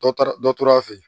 Dɔ taara dɔ tora a fɛ yen